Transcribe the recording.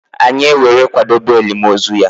Anyi ewere kwadobe elim ozu ya.